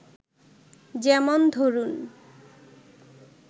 যেমন ধরুন